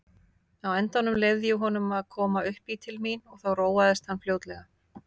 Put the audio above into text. Á endanum leyfði ég honum að koma uppí til mín og þá róaðist hann fljótlega.